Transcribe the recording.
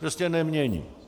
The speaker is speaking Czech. Prostě nemění.